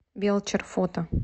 белчер фото